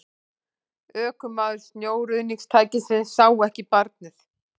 Ökumaður snjóruðningstækisins sá ekki barnið